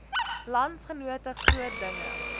landsgenote groot dinge